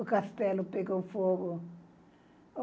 O castelo pegou fogo.